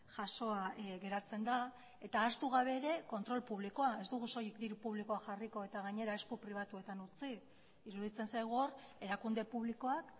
jasoa geratzen da eta ahaztu gabe ere kontrol publikoa ez dugu soilik diru publikoa jarriko eta gainera esku pribatuetan utzi iruditzen zaigu hor erakunde publikoak